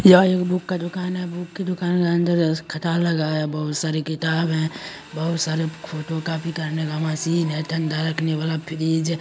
यह एक बुक का दूकान है। बुक की दूकान के अंदर खटाल लगा है। बहुत सारी किताब है बोहत सारे फोटो कॉफी करने का मशीन हैं। ठंडा रखने वाला फ्रिज ।